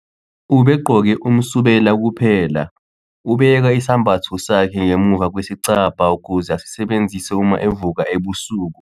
ubegqoke umsubela kuphelaubeka isambatho sakhe ngemuva kwesicabha ukuze asisebenzise uma evuka ebusuku